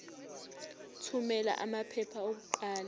thumela amaphepha okuqala